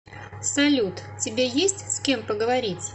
салют тебе есть с кем поговорить